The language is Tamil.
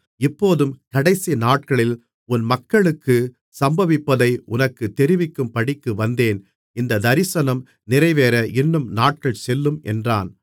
இப்போதும் கடைசி நாட்களில் உன் மக்களுக்குச் சம்பவிப்பதை உனக்குத் தெரிவிக்கும்படிக்கு வந்தேன் இந்தத் தரிசனம் நிறைவேற இன்னும் நாட்கள் செல்லும் என்றான்